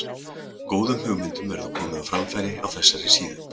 Góðum hugmyndum verður komið á framfæri á þessari síðu.